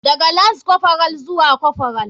Daga lance corporal zuwa corporal.